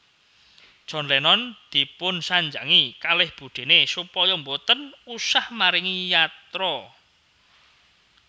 John Lennon dipunsanjangi kalih budene supaya mboten usah maringi yatra